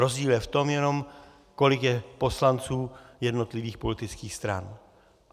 Rozdíl je v tom jenom, kolik je poslanců jednotlivých politických stran.